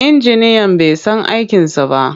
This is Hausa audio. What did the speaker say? Injiniyan bai san aikinsa ba.